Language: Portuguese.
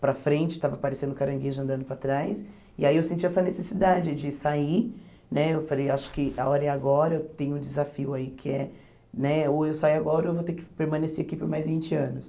para frente, estava parecendo um caranguejo andando para trás, e aí eu senti essa necessidade de sair, né, eu falei, acho que a hora é agora, eu tenho um desafio aí, que é, né, ou eu saio agora ou eu vou ter que permanecer aqui por mais vinte anos.